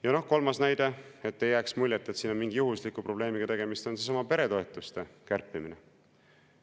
Ja kolmas näide, et ei jääks muljet, et siin on mingi juhusliku probleemiga tegemist, on seesama peretoetuste kärpimine.